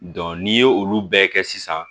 n'i ye olu bɛɛ kɛ sisan